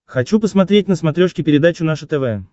хочу посмотреть на смотрешке передачу наше тв